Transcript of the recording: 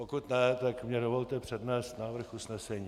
Pokud ne, tak mně dovolte přednést návrh usnesení.